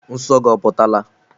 Nsọ gị oputala?